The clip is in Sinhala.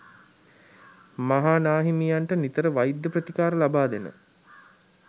මහා නා හිමියන්ට නිතර වෛද්‍ය ප්‍රතිකාර ලබා දෙන